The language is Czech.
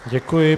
Děkuji.